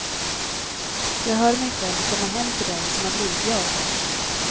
Jag hör mig själv komma hem till den som har blivit jag.